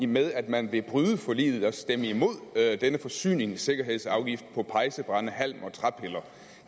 med at man vil bryde forliget altså stemme imod denne forsyningssikkerhedsafgift på pejsebrænde halm og træpiller